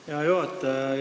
Hea juhataja!